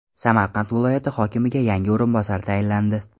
Samarqand viloyati hokimiga yangi o‘rinbosar tayinlandi.